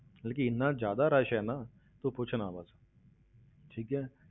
ਮਤਲਬ ਕਿ ਇੰਨਾ ਜ਼ਿਆਦਾ rush ਹੈ ਨਾ, ਤੂੰ ਪੁੱਛ ਨਾ ਬਸ ਠੀਕ ਹੈ